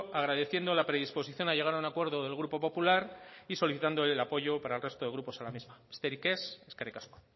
agradeciendo la predisposición a llegar a un acuerdo del grupo popular y solicitando el apoyo para el resto de grupos a la misma besterik ez eskerrik asko